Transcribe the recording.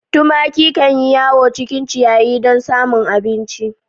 Tumaki kan yi yawo cikin ciyayi dun samun abinci.